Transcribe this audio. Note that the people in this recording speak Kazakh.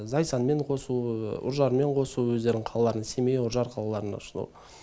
зайсанмен қосу үржармен қосу өздерінің қалаларына семей үржар қалаларына шығу